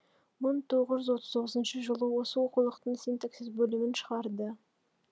мың тоғыз жүз отыз тоғызыншы жылы осы оқулықтың синтаксис бөлімін шығарды